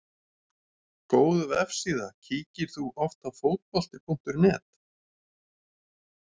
Góð vefsíða Kíkir þú oft á Fótbolti.net?